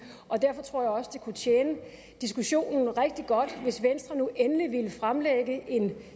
derfor tror jeg også det kunne tjene diskussionen rigtig godt hvis venstre nu endelig ville fremlægge en